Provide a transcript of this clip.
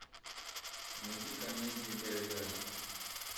найди комедии гайдая